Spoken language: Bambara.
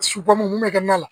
mun bɛ kɛ na la